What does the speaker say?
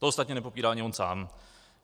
To ostatně nepopírá ani on sám.